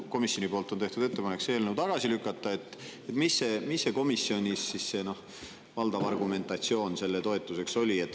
Komisjon on teinud ettepaneku see eelnõu tagasi lükata – mis oli komisjonis valdav argumentatsioon selle toetuseks?